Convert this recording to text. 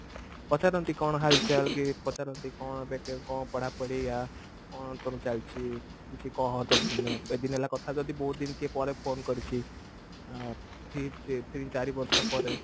ପଚାରନ୍ତି କଣ ହାଲ ଚାଲ କି ପଚାରନ୍ତି କଣ ଏବେ କଣ ପଢା ପଢି ଆ କଣ ତୋର ଚାଲିଛି କିଛି କହ ଅ ମାନେ ଏତେଦିନ ହେଲାଣି କଥା ଯଦି ବହୁତ ଦିନ ପରେ କିଏ phone କରିଛି ଆ three ତିନ ଚାରି ବର୍ଷ ପରେ